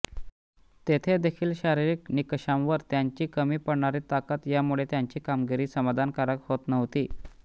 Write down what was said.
तेथे देखील शारीरिक निकषांवर त्यांची कमी पडणारी ताकद यामुळे त्यांची कामगिरी समाधानकारक होत नव्हती